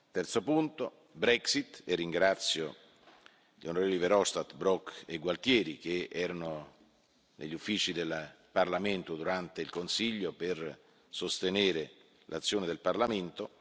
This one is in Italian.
Il terzo punto è quello della Brexit, e ringrazio gli onorevoli Verhofstadt, Brok e Gualtieri, che erano negli uffici del Parlamento durante il Consiglio per sostenere l'azione del Parlamento.